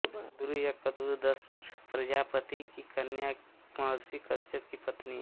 कद्रू या कद्रु दक्ष प्रजापति की कन्या महर्षि कश्यप की पत्नी